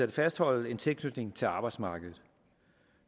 at fastholde en tilknytning til arbejdsmarkedet